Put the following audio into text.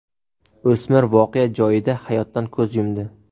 O‘smir voqea joyida hayotdan ko‘z yumdi.